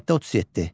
Maddə 37.